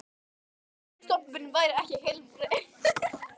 um að fisk- stofn minn væri ekki heilbrigður.